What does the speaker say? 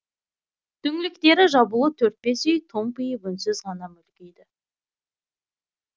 түңліктері жабулы төрт бес үй томпиып үнсіз ғана мүлгиді